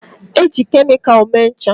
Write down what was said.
Eji kemịkal mee ncha.